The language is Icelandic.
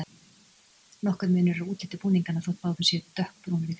Nokkur munur er á útliti búninganna, þótt báðir séu dökkbrúnir í fyrstu.